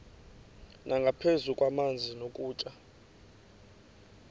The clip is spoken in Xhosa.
nangaphezu kwamanzi nokutya